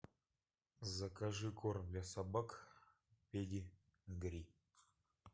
закажи корм для собак педигри